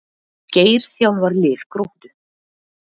Geir þjálfar lið Gróttu